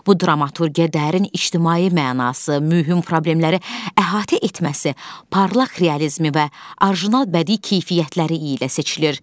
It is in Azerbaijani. Bu dramaturgiya dərin ictimai mənası, mühüm problemləri əhatə etməsi, parlaq realizmi və orijinal bədii keyfiyyətləri ilə seçilir.